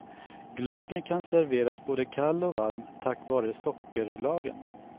Glöggen kan serveras både kall och varm tack vare sockerlagen.